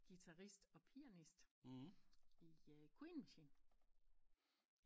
Guitarist og pianist i Queen Machine